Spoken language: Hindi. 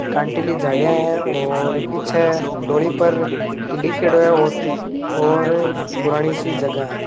कंटीली झाड़िया है और पीछे डोली पर की लिख्योड़ो है और पीछ और पुरानी सी जगह है।